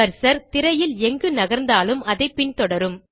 cursor திரையில் எங்கு நகர்ந்தாலும் அதை பின்தொடரும்